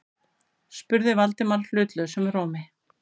spurði Valdimar hlutlausum rómi.